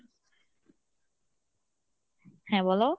হ্যাঁ বলো?